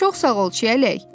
Çox sağ ol çiəlik.